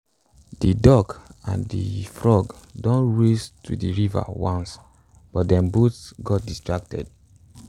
de duck and de frog don race to de river once but dem both got distracted